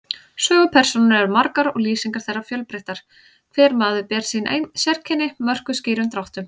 Sögupersónur eru margar og lýsingar þeirra fjölbreyttar, hver maður ber sín sérkenni, mörkuð skýrum dráttum.